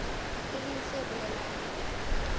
e leng se bolelang hore